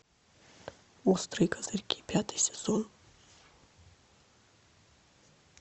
острые козырьки пятый сезон